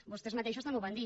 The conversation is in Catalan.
vostès mateixos també ho van dir